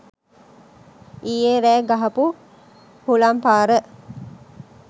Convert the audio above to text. ඊයෙ රෑ ගහපු හුළං පාර